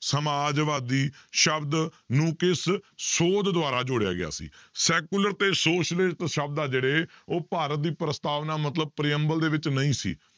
ਸਮਾਜਵਾਦੀ ਸ਼ਬਦ ਨੂੰ ਕਿਸ ਸੋਧ ਦੁਆਰਾ ਜੋੜਿਆ ਗਿਆ ਸੀ secular ਤੇ socialist ਸ਼ਬਦ ਆ ਜਿਹੜੇ ਉਹ ਭਾਰਤ ਦੀ ਪ੍ਰਸਤਾਵਨਾ ਮਤਲਬ ਦੇ ਵਿੱਚ ਨਹੀਂ ਸੀ,